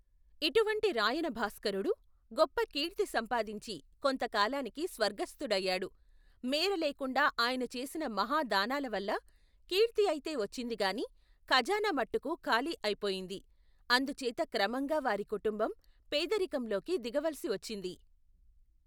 ఇటువంటి రాయనభాస్కరుడు గొప్ప కీర్తి సంపాదించి కొంతకాలానికి స్వర్గస్థుడయ్యాడు మేరలేకుండా ఆయన చేసిన మహా దానాలవల్ల కీర్తిఐతే వచ్చిందికాని ఖజానామట్టుకు ఖాళీ అయిపోయింది అందుచేత క్రమంగా వారి కుటుంబం పేదరికంలోకి దిగవలసివచ్చింది.